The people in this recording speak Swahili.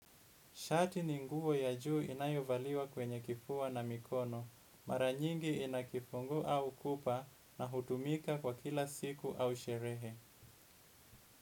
Shati ni nguo ya juu inayovaliwa kwenye kifua na mikono. Mara nyingi inakifunguu au kupa na hutumika kwa kila siku au sherehe.